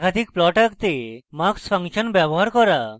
একাধিক plots আঁকতে mux function ব্যবহার করা